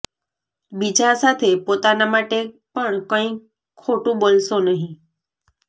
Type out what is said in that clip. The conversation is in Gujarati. બીજા સાથે પોતાના માટે પણ કંઇ ખોટું બોલશો નહીં